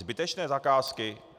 Zbytečné zakázky?